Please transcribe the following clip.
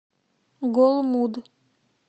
голмуд